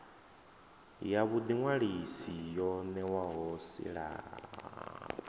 ya vhuḓiṅwalisi yo ṋewaho silahapani